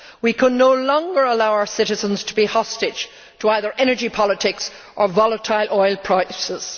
We can no longer allow our citizens to be hostage to either energy politics or volatile oil prices.